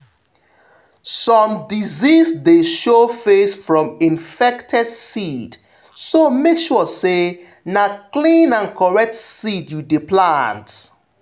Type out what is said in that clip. some disease dey show face from infected seed so make sure say na clean and correct seed you dey plant.